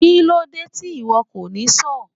Kílódé tí ìwo kò ní sọ́ọ̀?